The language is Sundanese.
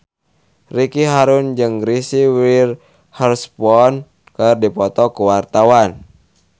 Ricky Harun jeung Reese Witherspoon keur dipoto ku wartawan